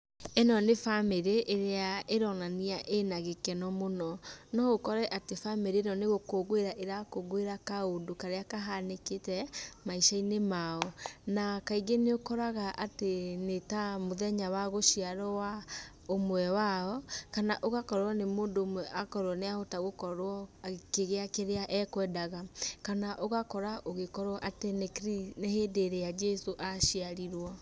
ĩno nĩ bamĩrĩ ĩrĩa ĩronania ĩna gĩkeno mũno. No ũkore atĩ bamĩrĩ ĩno nĩ gũkũngũĩra ĩrakũngũĩra kaũndũ karĩa kahanĩkĩte maica-inĩ mao na kaingĩ nĩ ũkoraga atĩ nĩ ta mũthenya wa gũciarwo wa ũmwe wao kana ũgakorwo nĩ mũndũ ũmwe akorwo nĩ ahota gũkorwo akĩgĩa kĩrĩa ekwendaga kana ũgakora ũgĩkorwo atĩ nĩ hĩndĩ ĩrĩa njĩcũ aciarirwo.